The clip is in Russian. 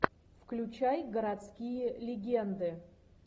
включай городские легенды